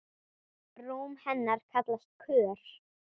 Rúm hennar kallast Kör.